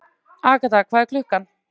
Agatha, hvað er klukkan?